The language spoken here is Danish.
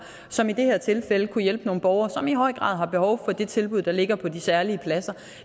som i det her tilfælde kunne hjælpe nogle borgere som i høj grad har behov for det tilbud der ligger på de særlige pladser